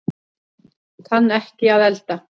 Kann ekki að elda